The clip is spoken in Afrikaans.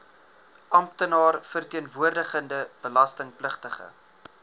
amptenaar verteenwoordigende belastingpligtige